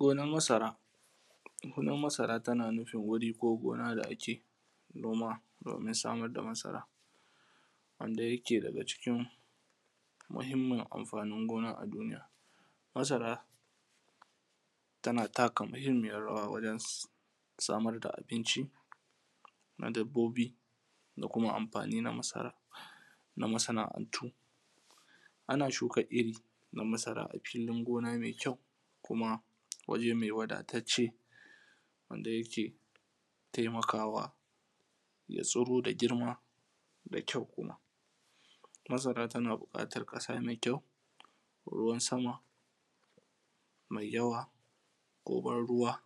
Gonan masara gonan masara tana nufin wuri ko gona da ake noma domin samar da masara, wanda yake daga cikin mahinmin amfani gona a duniya. Masara tana taka muhinmiyar rawa wajen samar da abinci na dabbobi da kuma amfani na masaran na masana’antu. Ana shuka iri na masara a fili me kyau kuma wuri wadatacce wanda ke taimakwa saboda girma da kyau, masara tana buƙatan ƙasa me kyau ruwan sama ko ban ruwa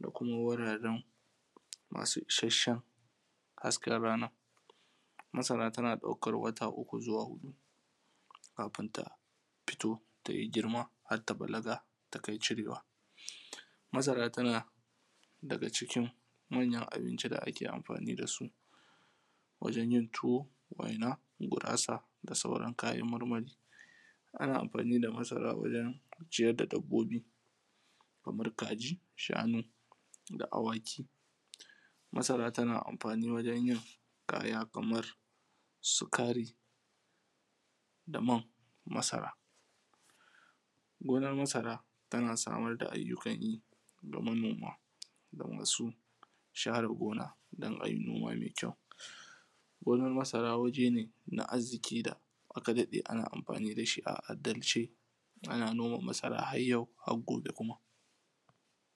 da kuma wurarre masu ishashen hasken rana. Masara tana ɗaukan wata uku zuwa huɗu kafun ta fito ta yi girma har ta bala ta yi kyau har takai cirewa. Masara ta daga cikin abinci me kyau da ake amfani da su wajen yin tuwo, waina, gurasa da sauran yin kayan marmari. Ana amfani da masara wajen ciyar da dabbobi kamar kaji, shanu, da awaki. Masara tana amfani wajen yin kaya kamar sukari daman masara gonan masara, gonan masara tana samar da ayyukan yi a manoma da masu share gona don haihuwa me kyau, gonan masara wajen da arziki da aka daɗe ana amfani da shi a al’adalce ana noman masara har yau har gobe.